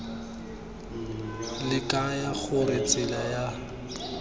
le kaya gore tsela ya